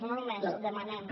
no només demanem